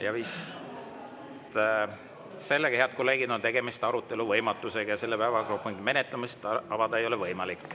Ja vist sellega, head kolleegid, on tegemist arutelu võimatusega ja selle päevakorrapunkti menetlemist avada ei ole võimalik.